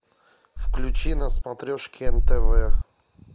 включи на смотрешке нтв